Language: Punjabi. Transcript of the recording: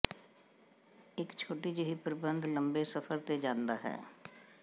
ਇਕ ਛੋਟੀ ਜਿਹੀ ਪ੍ਰਬੰਧ ਲੰਬੇ ਸਫ਼ਰ ਤੇ ਜਾਂਦਾ ਹੈ